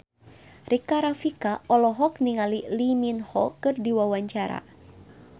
Rika Rafika olohok ningali Lee Min Ho keur diwawancara